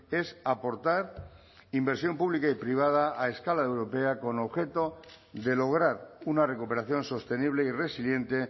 es aportar inversión pública y privada a escala europea con objeto de lograr una recuperación sostenible y resiliente